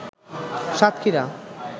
Satkhira